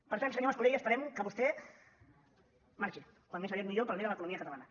per tant senyor mascolell esperem que vostè marxi com més aviat millor per al bé de l’economia catalana